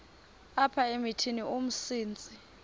apha emithini umsintsi